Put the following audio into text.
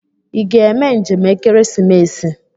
Ị ga eme njem ekeresimesi?